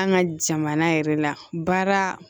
An ka jamana yɛrɛ la baara